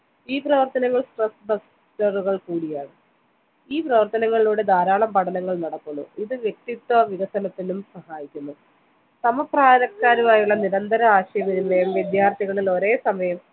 ഈ പ്രവർത്തനങ്ങൾ കൂടിയാണ് ഈ പ്രവർത്തനങ്ങളിലൂടെ ധാരാളം പഠനങ്ങൾ നടക്കുന്നു ഇത് വ്യക്തിത്യ വികസനത്തിനും സഹായിക്കുന്നു സമപ്രായക്കാരുമായുള്ള നിരന്ത ആശയവിനിമയം വിദ്യാർത്ഥികളിൽ ഒരേ സമയം